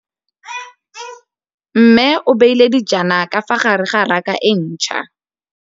Mmê o beile dijana ka fa gare ga raka e ntšha.